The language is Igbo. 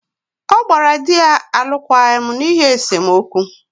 ọ gbara di ya alụkwaghịm n’ihi esemokwu